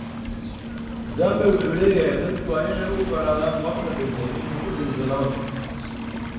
Muzambe wuxuu leeyahay dadku waa inay u ogolaadaan qofka dhintay inuu ku dhinto nabad.